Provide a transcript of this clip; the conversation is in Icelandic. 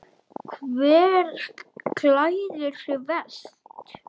Hver klæðir sig verst?